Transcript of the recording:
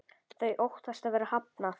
Þau óttast að vera hafnað.